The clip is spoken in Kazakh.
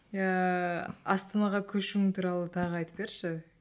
иә астанаға көшуің туралы тағы айтып берші